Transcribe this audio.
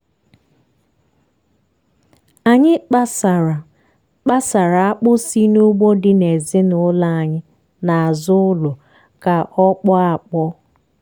anyị kpasara kpasara akpụ si n'ugbo dị ezinụlọ anyị n'azụ ụlọ ka ọ kpọọ akpọọ.